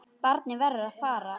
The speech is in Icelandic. Barnið verður að fara.